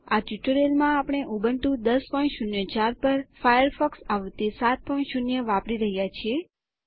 આ ટ્યુટોરીયલમાં આપણે ઉબુન્ટુ 1004 પર ફાયરફોક્સ આવૃત્તિ 70 વાપરી રહ્યા છીએ